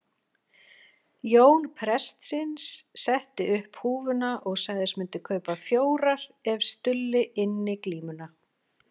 Jón prestsins setti upp húfuna og sagðist myndu kaupa fjórar ef Stulli ynni glímuna.